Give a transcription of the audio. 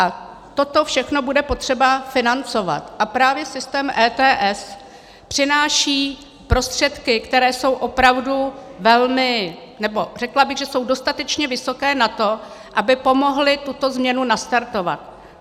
A toto všechno bude potřeba financovat a právě systém ETS přináší prostředky, které jsou opravdu velmi - nebo řekla bych, že jsou dostatečně vysoké na to, aby pomohly tuto změnu nastartovat.